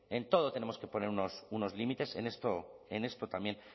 en todo tenemos que poner unos límites en esto también